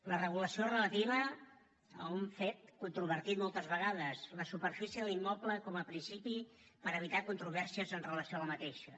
la regulació és relativa a un fet controvertit moltes vegades la superfície de l’immoble com a principi per evitar controvèrsies amb relació a aquesta